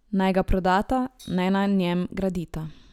Naj ga prodata, naj na njem gradita.